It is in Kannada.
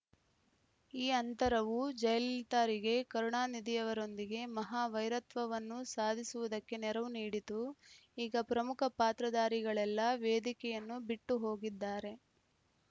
ಈ ಅಂತರವು ಜಯಲಲಿತಾರಿಗೆ ಕರುಣಾನಿಧಿಯವರೊಂದಿಗೆ ಮಹಾ ವೈರತ್ವವನ್ನು ಸಾಧಿಸುವುದಕ್ಕೆ ನೆರವು ನೀಡಿತು ಈಗ ಪ್ರಮುಖ ಪಾತ್ರಧಾರಿಗಳೆಲ್ಲ ವೇದಿಕೆಯನ್ನು ಬಿಟ್ಟುಹೋಗಿದ್ದಾರೆ